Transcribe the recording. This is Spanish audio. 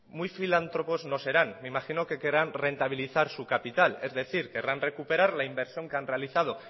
muy filántropos no serán me imagino que querrán rentabilizar su capital es decir querrán recuperar la inversión que han realizado